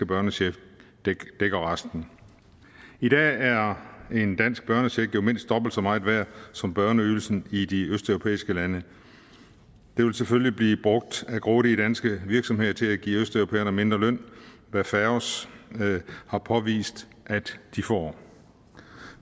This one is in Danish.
børnecheck dækker resten i dag er en dansk børnecheck jo mindst dobbelt så meget værd som børneydelsen i de østeuropæiske lande det vil selvfølgelig blive brugt af grådige danske virksomheder til at give østeuropæerne mindre løn hvad faos har påvist at de får